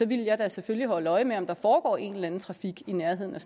ville jeg da selvfølgelig holde øje med om der foregår en eller anden trafik i nærheden af